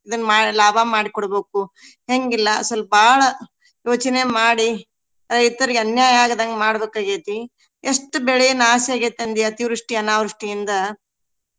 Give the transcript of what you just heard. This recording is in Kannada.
ಇದನ್ನ ಮಾಡಿ ಲಾಭ ಮಾಡಿ ಕೊಡ್ಬೇಕು ಹೆಂಗಿಲ್ಲಾ ಸ್ವಲ್ಪ ಬಾಳ ಯೋಚನೆ ಮಾಡಿ ರೈತರಿಗೆ ಅನ್ಯಾಯ ಆಗದಂಗ್ ಮಾಡ್ಬೇಕ ಆಗ್ಯೆತಿ. ಎಷ್ಟ್ ಬೆಳೆ ನಾಶ ಆಗೇತಿ ಅಂದಿ ಅತಿವೃಷ್ಟಿ ಅನಾವೃಷ್ಟಿಯಿಂದ.